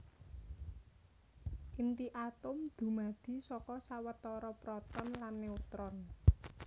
Inti atom dumadi saka sawetara proton lan neutron